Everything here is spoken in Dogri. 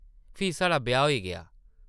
फ्ही साढ़ा ब्याह् होई गेआ ।